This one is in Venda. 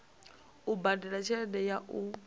u badela tshelede ya u